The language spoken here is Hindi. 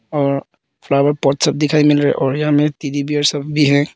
और फ्लावर पॉट स्पॉट दिखाएं मिल रहे हैं और यहां में टेडी बेयर सब भी है।